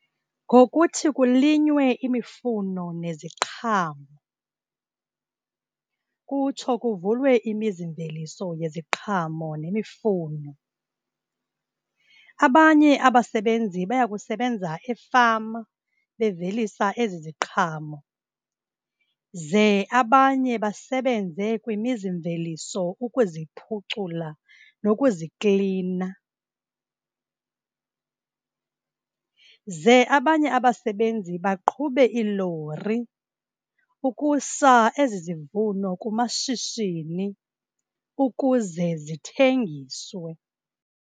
Ngokuthi kulinywe imifuno neziqhamo, kutsho kuvulwe imizimveliso yeziqhamo nemifuno. Abanye abasebenzi baya kusebenza efama bevelisa ezi ziqhamo, ze abanye basebenze kwimizimveliso ukuziphucula nokuziklina, ze abanye abasebenzi baqhube iilori ukusa ezi zivuno kumashishini ukuze zithengiswe.